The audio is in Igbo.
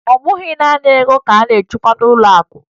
Ọ bụghị naanị ego ka a na-achekwa n'ụlọakụ